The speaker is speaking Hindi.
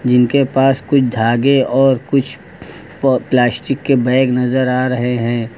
इनके पास कुछ धागे और कुछ प प्लास्टिक के बैग नजर आ रहे हैं।